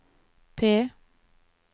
P